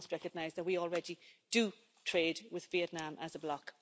We must recognise that we already do trade with Vietnam as a bloc.